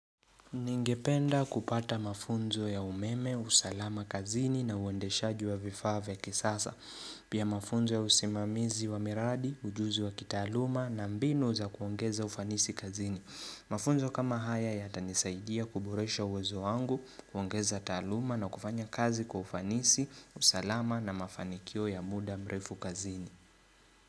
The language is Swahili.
Ningependa kupata mafunzo ya umeme, usalama kazini na uendeshaji wa vifaa vya kisasa. Pia mafunzo ya usimamizi wa miradi, ujuzi wa kitaaluma na mbinu za kuongeza ufanisi kazini. Mafunzo kama haya yatanisaidia kuboresha uwezo wangu, kuongeza taaluma na kufanya kazi kwa ufanisi, usalama na mafanikio ya muda mrefu kazini.